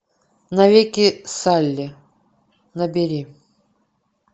навеки салли набери